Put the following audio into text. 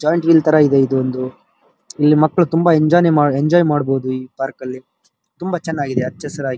joint wheel ತರ ಇದೆ ಇದು ಒಂದು ಇಲ್ಲಿ ಮಕ್ಕಳು ತುಂಬಾ ಎಂಜಾಯ್ನೆ ಎಂಜಾಯ್‌ ಮಾಡಬಹುದು ಈ ಪಾರ್ಕ್ ಅಲ್ಲಿ ತುಂಬಾ ಚೆನ್ನಾಗಿದೆ ಹಚ್ಚ ಹಸಿರಾಗಿ --